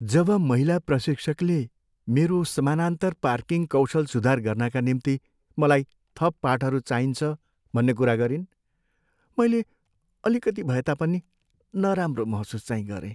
जब महिला प्रशिक्षकले मेरो समानान्तर पार्किङ कौशल सुधार गर्नाका निम्ति मलाई थप पाठहरू चाहिन्छ भन्ने कुरा गरिन्, मैले अलिकति भए तापनि नराम्रो महसुस चाहिँ गरेँ।